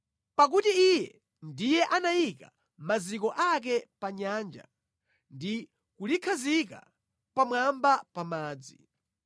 pakuti Iye ndiye anayika maziko ake pa nyanja ndi kulikhazika pamwamba pa madzi.